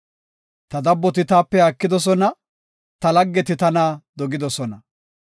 Ta dabboti taape haakidosona; ta laggeti tana dogidosona.